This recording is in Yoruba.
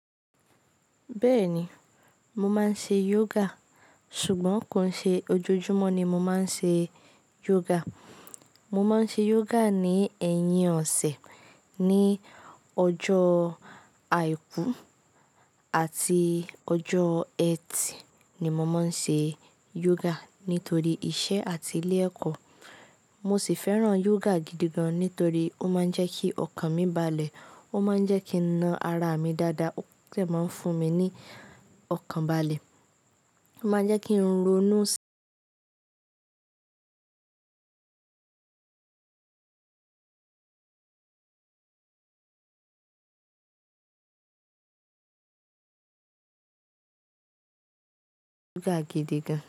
Bẹ́ẹ̀ni, mo máa ń ṣe yoga ṣùgbọ́n kò n ṣe ojoojúmọ́ ni mo máa ń ṣe yoga. Mo máa ń ṣe yoga ní ẹ̀yìn ọ̀sẹ̀ ní ọjọ́ àìkú àti ọjọ́ ẹtì ni mo máa ń ṣe yoga nítorí iṣẹ́ àti ilé ẹ̀kọ́. Mo sì fẹ́ràn yoga gidi gan nítorí ó máa ń jẹ́ kí ọkàn mi balẹ̀, ó máa ń jẹ́ kí n na ara mi dáadáa, ó de máa ń fún mi ní ọkàn balẹ̀, ó máa jẹ́ kí ń ronú sí yoga gidi gan.